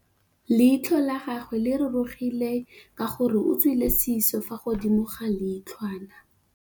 Leitlhô la gagwe le rurugile ka gore o tswile sisô fa godimo ga leitlhwana.